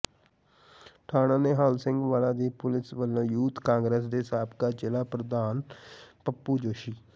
ਥਾਣਾ ਨਿਹਾਲ ਸਿੰਘ ਵਾਲਾ ਦੀ ਪੁਲਿਸ ਵਲੋਂ ਯੂਥ ਕਾਂਗਰਸ ਦੇ ਸਾਬਕਾ ਜ਼ਿਲ੍ਹਾ ਪ੍ਰਧਾਨ ਪੱਪੂ ਜੋਸੀ